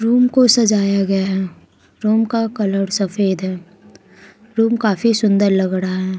Room को सजाया गया है रूम का कलर सफेद है रूम काफी सुंदर लग रहा है।